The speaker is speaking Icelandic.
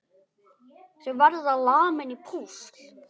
Þau verða lamin í púsl!